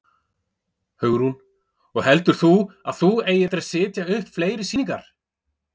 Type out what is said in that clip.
Hugrún: Og heldur þú að þú eigir eftir að setja upp fleiri sýningar?